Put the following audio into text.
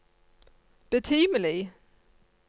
betimelig